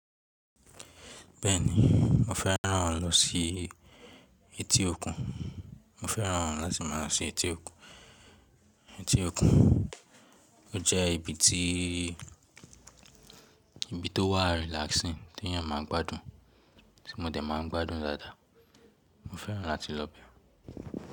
Bẹ́ẹ̀ni, mo fẹ́ràn lọ sí etí òkun. Mo fẹ́ràn láti má a lọ sí etí òkun. Etí òkun jẹ́ ibi tó wà relaxing tí èèyàn máa ń gbádùn tí mo dẹ̀ máa ń gbádùn dáadáa. Mo fẹ́ràn láti lọ bẹ̀.